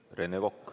Rene Kokk.